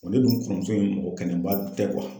Bɔn ne dun kɔrɔmuso in, mɔgɔ ke Ɛnɛn ba tɛ